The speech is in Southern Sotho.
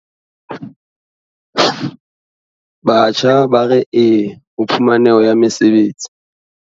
Batjha ba re YES ho phumaneho ya mesebetsi